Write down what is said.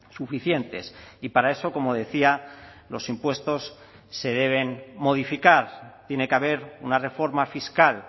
suficientes y para eso como decía los impuestos se deben modificar tiene que haber una reforma fiscal